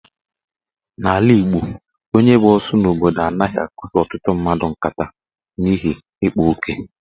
N'ala Igbo, onye bụ osu n'obodo anaghị akpaso ọtụtụ mmadụ nkata n'ihi ikpa oke.